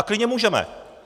A klidně můžeme.